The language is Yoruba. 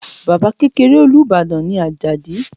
Baba kekere Olubadan ni Ajadi